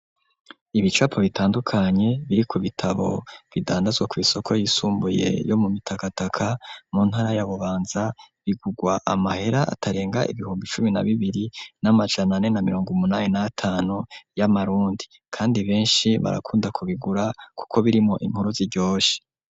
Ibicapo bitandukanye biri ku bitabo bidandazwa kw'isoko y'isumbuye yo mu mitakataka mu ntara y'a bubanza bigugwa amahera atarenga ibihumbi cumi na bibiri n'amajana ane na mirongo umunani n'atanu y'amarundi kandi benshi barakunda kubigura kuko birimwo inkuru ziryoshe.